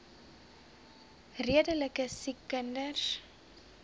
redelike siek kinders